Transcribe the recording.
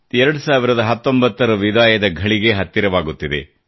2019 ರ ವಿದಾಯದ ಘಳಿಗೆ ಹತ್ತಿರವಾಗುತ್ತಿದೆ